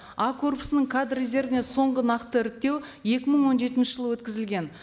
а корпусының кадр резервіне соңғы нақты іріктеу екі мың он жетінші жылы өткізілген